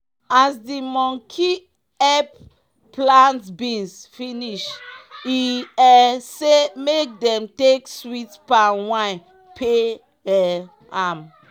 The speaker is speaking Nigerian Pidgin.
as the monkey epp plant beans finish e um say make dem take sweet palm wine pay um am